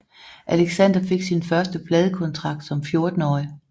Alexander fik sin første pladekontrakt som 14 årig